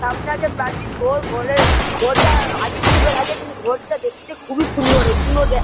সামনে আছে প্রাচীন ঘোর ঘোরের ঘোরটা আদিম যুগের আছে কিন্তু ঘোরটা দেখতে খুবই সুন্দর এইগুলো দে-- ।